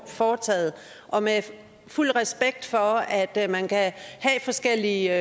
foretaget og med fuld respekt for at at man kan have forskellige